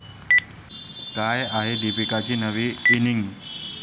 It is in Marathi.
काय आहे दीपिकाची नवी इनिंग?